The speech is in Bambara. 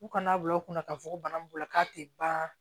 U kana bila u kunna ka fɔ ko bana b'u la k'a tɛ ban